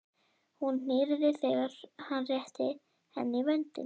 Hún hýrnaði þegar hann rétti henni vöndinn.